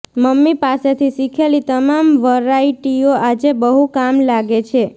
mummy પાસેથી શીખેલી તમામ વરાઇટીઓ આજે બહુ કામ લાગે છે